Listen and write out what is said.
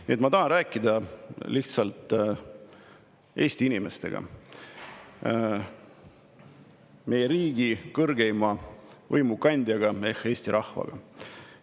Nii et ma tahan rääkida lihtsalt Eesti inimestega, meie riigi kõrgeima võimu kandjaga ehk Eesti rahvaga.